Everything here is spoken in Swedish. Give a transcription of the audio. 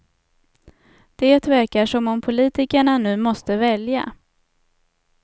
Det verkar som om politikerna nu måste välja.